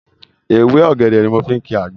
Ewé ọ̀gẹ̀dẹ̀ ni mo fi ń kìí àgbo